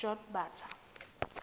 jotbatha